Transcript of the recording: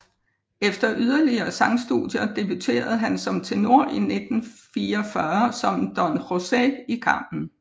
Efter yderligere sangstudier debuterede han som tenor i 1944 som Don José i Carmen